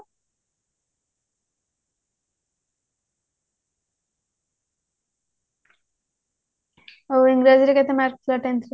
ଆଉ ଇଂରାଜୀ ରେ କେତେ mark ଥିଲା tenth ରେ